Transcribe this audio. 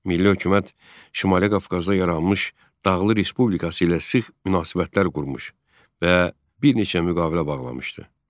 Milli hökumət Şimali Qafqazda yaranmış Dağlıq Respublikası ilə sıx münasibətlər qurmuş və bir neçə müqavilə bağlamışdı.